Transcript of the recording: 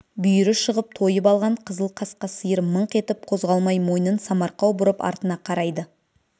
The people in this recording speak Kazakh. бүйірі шығып тойып алған қызыл қасқа сиыр мыңқ етіп қозғалмай мойнын самарқау бұрып артына қарайды